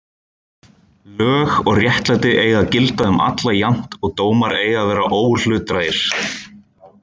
Lög og réttlæti eiga að gilda um alla jafnt og dómar eiga að vera óhlutdrægir.